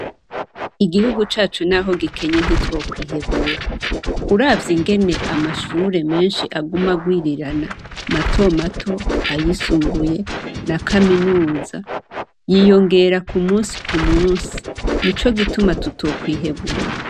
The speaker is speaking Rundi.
Igihugu cacu naho gikenye ntitwokwihebura, uravye ingene amashure menshi aguma agwirirana, matomato, ayisumbuye na kaminuza yiyongera ku musi ku musi nico gituma tutokwihebura.